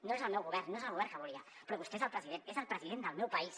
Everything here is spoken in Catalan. no és el meu govern no és el govern que volia però vostè és el president és el president del meu país